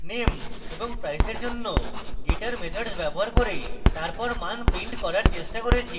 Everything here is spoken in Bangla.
name এবং price এর জন্য getter methods ব্যবহার করে তারপর মান print করার চেষ্টা করেছি